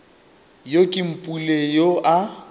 yo ke mpule yoo a